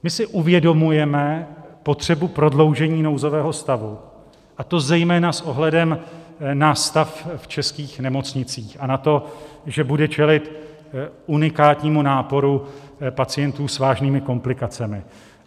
My si uvědomujeme potřebu prodloužení nouzového stavu, a to zejména s ohledem na stav v českých nemocnicích a na to, že budou čelit unikátnímu náporu pacientů s vážnými komplikacemi.